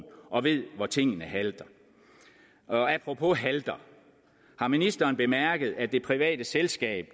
og ved hvor tingene halter apropos halter har ministeren så bemærket at det private selskab